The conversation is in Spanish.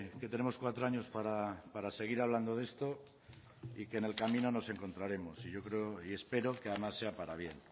que tenemos cuatro años para seguir hablando de esto y que en el camino nos encontraremos y yo creo y espero que además sea para bien